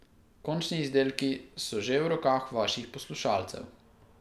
Končni izdelki so že v rokah vaših poslušalcev.